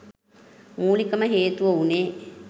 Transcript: මූලිකම හේතුව වුණේ